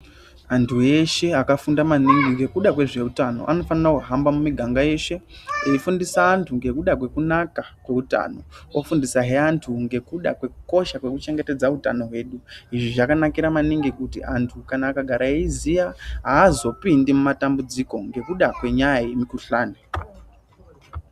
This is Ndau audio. Antu eshe akafunda maningi ngekuda kwezveutano anofana kuhamba mumiganga yeshe eyi fundisa andu ngekuda kwekunaka kweutano ofundisa he antu ngekuda kwekukosha kwekuchengetedza utano hwedu. Izvi zvakanakira maningi kuti antu kana akagara eyiziya hazopindi mumatambudziko ngekuda kwenyaya yemikuhlane.